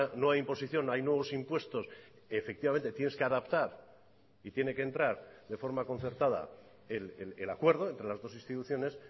no hay imposición hay nuevos impuestos efectivamente tienes que adaptar y tiene que entrar de forma concertada el acuerdo entre las dos instituciones